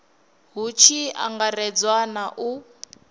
hu tshi angaredzwa na u